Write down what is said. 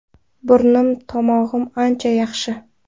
Burnim, tomog‘im ancha yaxshi.